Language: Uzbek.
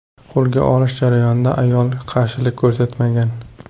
Qo‘lga olish jarayonida ayol qarshilik ko‘rsatmagan.